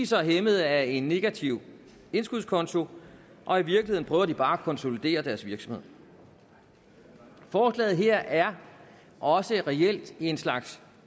så hæmmet af en negativ indskudskonto og i virkeligheden prøver de bare at konsolidere deres virksomhed forslaget her er også reelt en slags